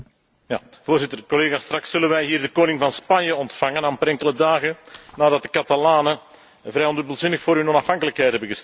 Voorzitter, collega's, straks zullen wij hier de koning van Spanje ontvangen, amper enkele dagen nadat de Catalanen vrij ondubbelzinnig voor hun onafhankelijkheid hebben gestemd.